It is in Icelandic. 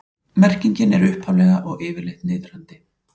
Merkingin er upphaflega og yfirleitt niðrandi.